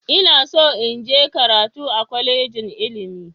Ina so in je karatu a kwalejin ilimi.